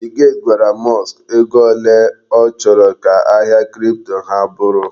Bill gate gwara Musk ego ole ọ chọrọ ka ahịa kripto ha bụrụ.